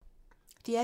DR P2